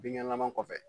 Bin ɲagan kɔfɛ